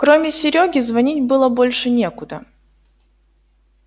кроме серёги звонить было больше некуда